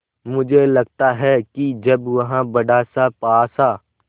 मुझे लगता है कि जब वह बड़ासा पासा